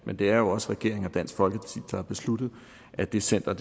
men det er jo også regeringen og dansk folkeparti der har besluttet at det center